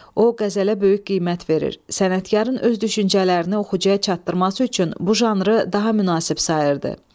O qəzələ böyük qiymət verir, sənətkarın öz düşüncələrini oxucuya çatdırması üçün bu janrı daha münasib sayırdı.